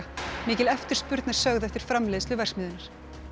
mikil eftirspurn er sögð eftir framleiðslu verksmiðjunnar